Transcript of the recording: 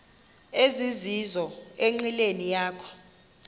ezizizo enqileni yakho